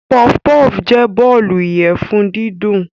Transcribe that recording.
Puffpuff jẹ́ bọ́ọ̀lù ìyẹ̀fun dídùn.